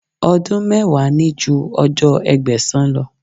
Ọdún mẹ́wàá ní ju ọjọ́ Ẹgbẹ̀sán lọ.